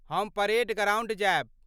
हम parade ground जायब।